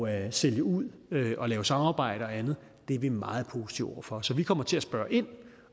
at sælge ud og lave samarbejde og andet er vi meget positive over for så vi kommer til at spørge ind